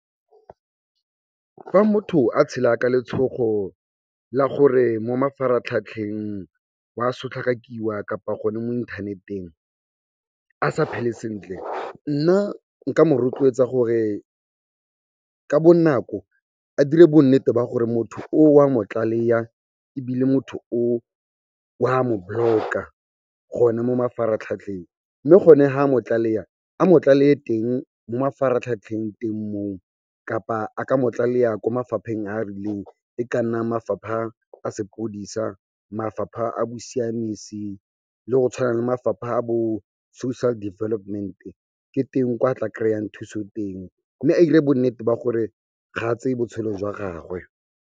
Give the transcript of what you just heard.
Fa motho a tshela ka letshogo la gore mo mafaratlhatlheng wa sotlhakakiwa kapa gone mo inthaneteng a sa phele sentle, nna nka mo rotloetsa gore ka bonako a dire bonnete ba gore motho oo wa mo tlaleya ebile motho oo wa mo block-a gona mo mafaratlhatlheng. Mme gone ha a mo tlaleya, a mo tlaleye teng mo mafaratlhatlheng teng moo kapa a ka mo tlaleya ko mafapheng a a rileng, e ka nna mafapha a sepodisa, mafapha a bosiamisi le go tshwana le mafapha a bo Social Development, ke teng kwa tla kry-iyang thuso teng mme a 'ire bonnete ba gore ga a tseye botshelo jwa gagwe.